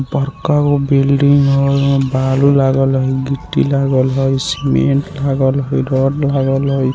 बड़का गो बिल्डिंग हेय ओय में बालू लागल हेय गिट्टी लागल हेय सीमेंट लागल हेय रॉड लागल हेय।